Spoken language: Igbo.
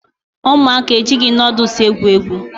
Ụmụaka ejighị nudụls egwu egwu